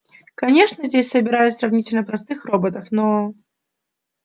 конечно здесь собирают сравнительно простых роботов но